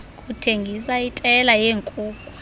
kuthengisa itela yeenkuku